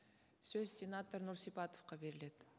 сөз сенатор нұрсипатовқа беріледі